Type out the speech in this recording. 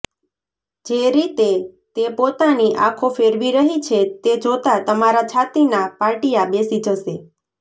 જે રીતે તે પોતાની આંખો ફેરવી રહી છે તે જોતા તમારા છાતીનાં પાટિયાં બેસી જશે